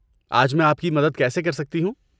آج میں آپ کی مدد کیسے کر سکتی ہوں؟